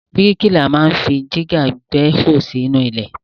Bríkìlà ma ń fi dígà gbẹ́hò sínú ilẹ̀.